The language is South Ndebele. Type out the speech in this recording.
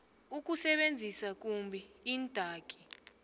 ukusebenzisa kumbi iindaki